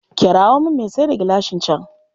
Kirawo min mai sayar da gilashin can.